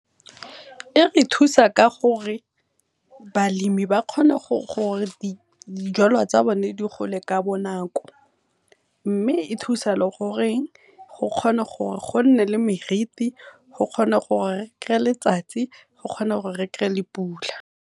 E re thusa ka gore balemi ba kgona go di jalo tsa bone di gole ka bonako, mme e thusa le gore go kgona gore gonne le meriti, go kgone gore letsatsi, go kgone gore re le pula.